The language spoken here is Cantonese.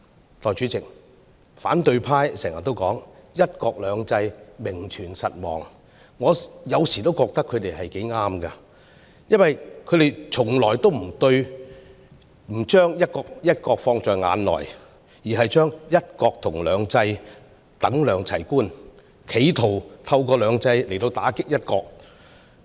代理主席，反對派經常說"一國兩制"名存實亡，我有時候覺得他們說得也對，因為他們從來不把"一國"放在眼內，而將"一國"和"兩制"等量齊觀，企圖透過"兩制"來打擊"一國"。